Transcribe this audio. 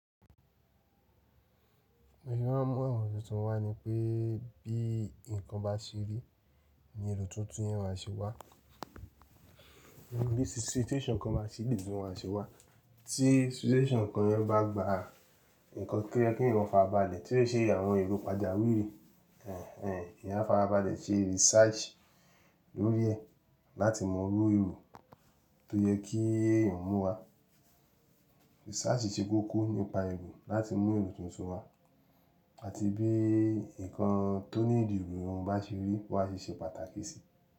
Mo máa ń mú àwọn èrò tuntun wá ni pé bí nǹkan bá ṣe rí ní èrò tuntun yẹn má ṣe wá. Bí situation kan bá ṣe wá, tí situation kan yẹn bá gba nǹkan tí ó yẹ kí èyàn fárabalẹ̀, tí ó ṣe àwọn èrò pàjáwìrì ẹ̀n ẹ̀n èyàn a fárabalẹ̀ ṣe research lórí ẹ̀ láti mọrú èrò tó yẹ kí ẹ̀yàn mú wá. Research ṣe kókó nípa èrò láti mú èrò tuntun wá àti bí nǹkan tó níidí èrò bá ṣe rí wọ́n á ṣe ṣe pàtàkì sí.